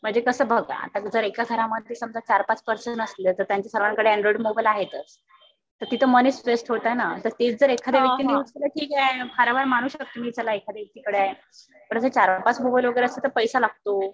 म्हणजे कसं बघा आता जर एका घरामध्ये समजा चार पाच पर्सन असले तर त्यांच्या सर्वांकडे अँडॉईड मोबाईल आहेतच. तर तिथं मनी स्ट्रेस्ड होत आहे. तर तेच जर एखाद्या व्यक्तीने विचार केला ठीक आहे. फार वेळा मानु शकता तुम्ही चला एखाद्या व्यक्तीकडे आहे. पण अस चार पाच मोबाईल वगैरे असले तर पैसा लागतो.